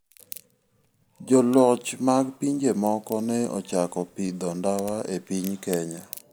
Joloch mag pinje moko ne ochako pidho ndawa e piny Kenya.